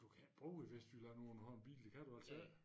Du kan ikke bo i Vestjylland uden at have en bil det kan du altså ik